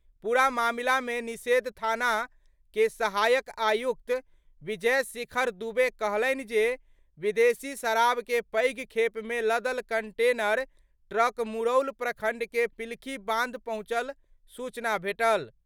पूरा मामला मे निषेध थाना के सहायक आयुक्त विजय शेखर दुबे कहलनि जे, विदेशी शराब के पैघ खेप मे लदल कंटेनर ट्रक मुरौल प्रखंड के पिलखी बांध पहुंचल सूचना भेटल।